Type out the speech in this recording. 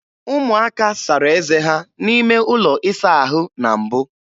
Ụmụaka sara eze ha n'ime ụlọ ịsa ahụ na mbụ.